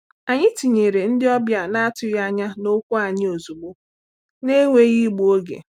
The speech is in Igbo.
Anyị tinyere ndị ọbịa na-atụghị anya n’okwu anyị ozugbo, na-enweghị igbu oge.